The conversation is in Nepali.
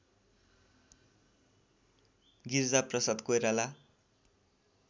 गिरिजाप्रसाद कोइराला